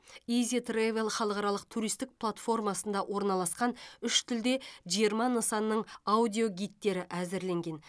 изи травел халықаралық туристік платформасында орналасқан үш тілде жиырма нысанның аудиогидтері әзірленген